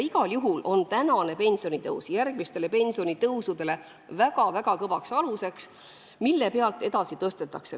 Igal juhul on tänane pensionitõus järgmistele pensionitõusudele väga-väga kõva alus, mille pealt pensione edasi tõstetakse.